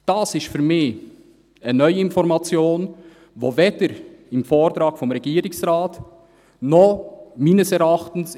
» Dies ist für mich eine neue Information, die weder im Vortrag des Regierungsrates noch – meines Erachtens;